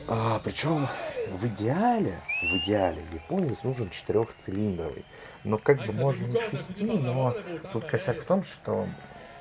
а почему в идеале в идеале японец нужен четырёхцилиндровый но как бы можно и шести но тут косяк в том что